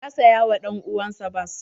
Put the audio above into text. Ya saya wa dan uwan sa bas.